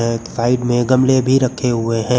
अ side में गमले भी रखे हुए हैं।